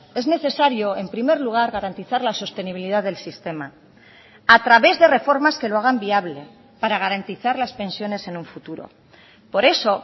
es necesario en primer lugar garantizar la sostenibilidad del sistema a través de reformas que lo hagan viable para garantizar las pensiones en un futuro por eso